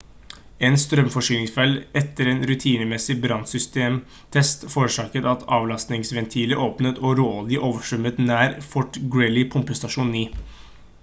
en strømforsyningsfeil etter en rutinemessig brannsystemtest forårsaket at avlastingsventiler åpnet og råolje overstrømmet nær fort greely pumpestasjon 9